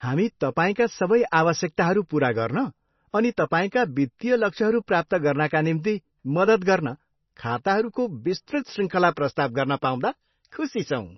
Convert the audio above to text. हामी तपाईँका सबै आवश्यकताहरू पुरा गर्न अनि तपाईँका वित्तीय लक्ष्यहरू प्राप्त गर्नाका निम्ति मद्दत गर्न खाताहरूको विस्तृत श्रृङ्खला प्रस्ताव गर्न पाउँदा खुसी छौँ।